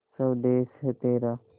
स्वदेस है तेरा